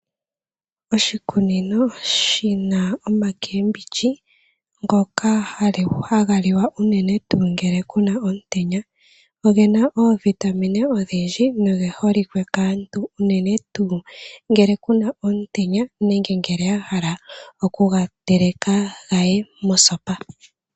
Oshikunino shi na oomboga ndhoka hadhi liwa unene ngele ku na omutenya. Omboga oyi na oovitamine odhindji noyi holike kaantu unene tuu ngele ku n aomutenya nenge ya hala okuyi teleka yi ye mosopa.